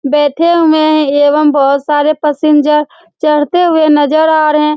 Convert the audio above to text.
बैठे हुए हैं एवं बहुत सारे पैसेंजर चढ़ते हुए नजर आ रहे हैं ।